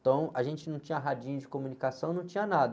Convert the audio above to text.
Então, a gente não tinha radinho de comunicação, não tinha nada.